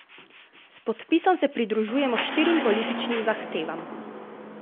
S podpisom se pridružujemo štirim političnim zahtevam.